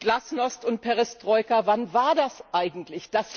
Glasnost und Perestroika wann war das eigentlich?